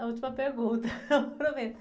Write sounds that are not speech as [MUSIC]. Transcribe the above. A última pergunta, [LAUGHS] eu prometo.